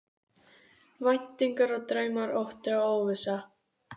Væntingar og draumar, ótti og óvissa.